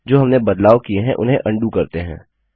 जो हमने बदलाव किए उन्हें अन्डू करते हैं